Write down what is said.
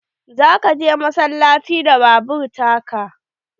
Za ka je massalaci da babur ta ka?